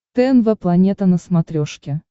тнв планета на смотрешке